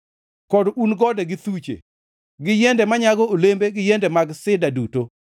kod un gode gi thuche gi yiende manyago olembe gi yiende mag sida duto;